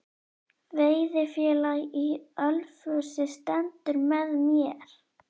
Veiðifélag í Ölfusi stendur með mér